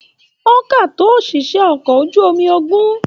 O ká tó oṣiṣẹ okọ̀ ojú omi ogún.